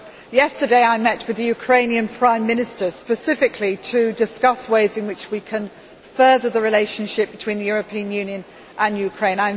Yesterday, I met the Ukrainian Prime Minister specifically to discuss ways in which we can further the relationship between the European Union and Ukraine.